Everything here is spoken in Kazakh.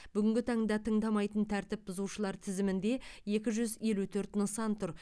бүгінгі таңда тыңдамайтын тәртіп бұзушылар тізімінде екі жүз елу төрт нысан тұр